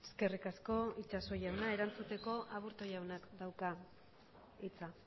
eskerrik asko itxaso jauna erantzuteko aburto jaunak dauka hitza